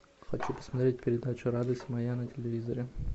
хочу посмотреть передачу радость моя на телевизоре